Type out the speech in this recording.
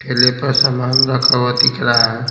फेले पर सामान रखा हुआ दिख रहा है।